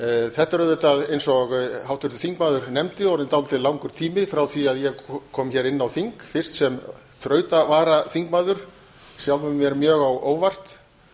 þetta er auðvitað eins og háttvirtur þingmaður nefndi orðinn dálítið langur tími frá því ég kom hér inn á þing fyrst sem þrautavaraþingmaður sjálfum mér mjög á óvart